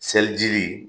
Seliji